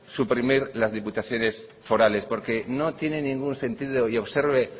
suprimir las diputaciones forales porque no tienen ningún sentido y observe